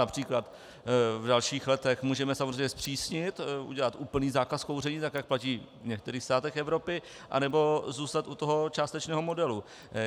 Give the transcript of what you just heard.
Například v dalších letech můžeme samozřejmě zpřísnit, udělat úplný zákaz kouření tak, jak platí v některých státech Evropy, anebo zůstat u toho částečného modelu.